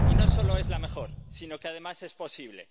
Y no solo es la mejor, sino que además es posible.